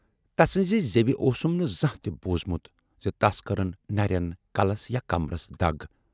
تسٕنزِ زیوِ اوسُم نہٕ زانہہ تہِ بوٗزمُت زِ تَس کٔرٕن نٮ۪رٮ۪ن، کلس یا کمبرس دَگ۔